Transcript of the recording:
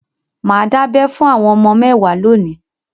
Mà á dábẹ fún àwọn ọmọ mẹ́wàá lónìí.